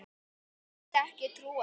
Ég vildi ekki trúa því.